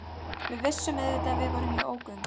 Við vissum auðvitað að við vorum í ógöngum.